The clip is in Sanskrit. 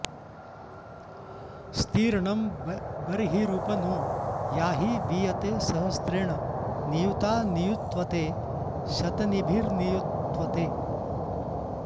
स्ती॒र्णं ब॒र्हिरुप॑ नो याहि वी॒तये॑ स॒हस्रे॑ण नि॒युता॑ नियुत्वते श॒तिनी॑भिर्नियुत्वते